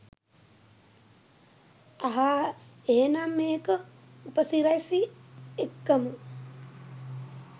අහා එහෙනම් මේක උපසිරැසි එක්කම